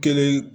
Kelen